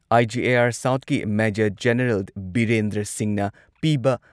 IGAR ꯁꯥꯎꯊꯀꯤ major general Birendra ꯁꯤꯡꯍꯅ ꯄꯤꯕ